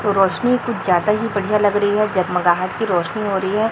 रोशनी कुछ ज्यादा ही बढ़िया लग रही है जगमगाहट की रोशनी हो रही है।